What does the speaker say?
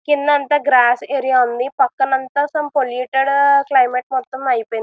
కింద అంత గ్రాస్ఏరియా ఉంది. పక్కన అంతా సమ్ పొల్యూటెడ్ క్లైమెట్ మొత్తం అయిపోయింది.